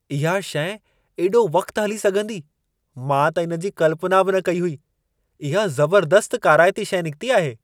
इहा शइ एॾो वक़्तु हली सघंदी, मां त इन जी कल्पना बि न कई हुई। इहा ज़बर्दस्तु काराइती शइ निकिती आहे।